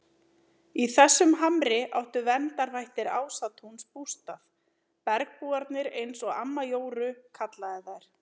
Í þessum hamri áttu verndarvættir Ásatúns bústað, bergbúarnir eins og amma Jóru kallaði þær.